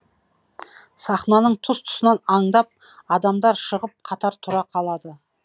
сахнаның тұс тұсынан аңдап адамдар шығып қатар тұра қалады